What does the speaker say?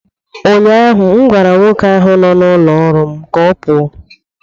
Ụnyahụ m gwara nwoke ahụ nọ n'ụlọ ọrụ m ka ọ pụọ!